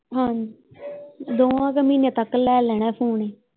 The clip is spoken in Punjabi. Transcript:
ਹਾਂ ਦੋਹਾਂ ਕੁ ਮਹੀਨੇ ਤੱਕ ਲੈ ਲੈਣਾ ਫੋਨ।